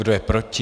Kdo je proti?